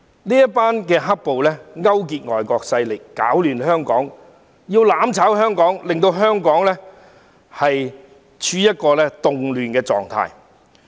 這些"黑暴"勾結外國勢力，攪亂香港，要"攬炒"香港，令香港處於動亂狀況。